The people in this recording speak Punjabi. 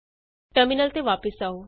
ਟਰਮਿਨਲ ਤੇ ਵਾਪਸ ਆਉ